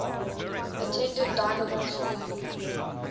attended dynevor school